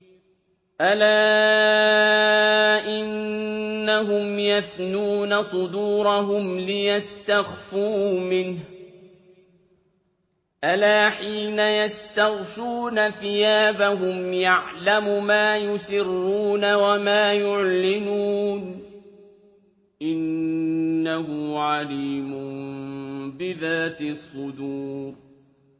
أَلَا إِنَّهُمْ يَثْنُونَ صُدُورَهُمْ لِيَسْتَخْفُوا مِنْهُ ۚ أَلَا حِينَ يَسْتَغْشُونَ ثِيَابَهُمْ يَعْلَمُ مَا يُسِرُّونَ وَمَا يُعْلِنُونَ ۚ إِنَّهُ عَلِيمٌ بِذَاتِ الصُّدُورِ